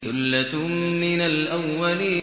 ثُلَّةٌ مِّنَ الْأَوَّلِينَ